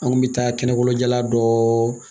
An kun bɛ taa kɛnɛkolon jala dɔ